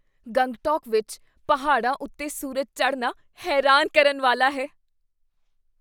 ਗੰਗਟੋਕ ਵਿੱਚ ਪਹਾੜਾਂ ਉੱਤੇ ਸੂਰਜ ਚੜ੍ਹਨਾ ਹੈਰਾਨ ਕਰਨ ਵਾਲਾ ਹੈ।